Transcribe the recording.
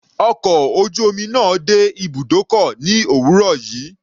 Ọkọ̀ ojú omi náà dé ibùdókọ̀ ní òwúrọ̀ yìí.